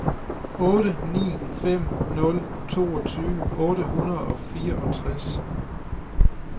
otte ni fem nul toogtyve otte hundrede og fireogtres